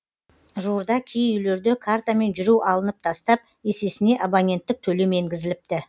жуырда кей үйлерде картамен жүру алынып тастап есесіне абоненттік төлем енгізіліпті